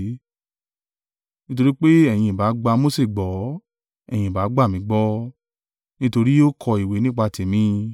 Nítorí pé ẹ̀yin ìbá gba Mose gbọ́, ẹ̀yin ìbá gbà mí gbọ́, nítorí ó kọ ìwé nípa tèmi.